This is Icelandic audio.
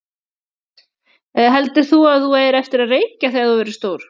Hödd: Heldur þú að þú eigir eftir að reykja þegar þú verður stór?